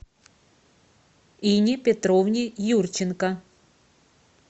инне петровне юрченко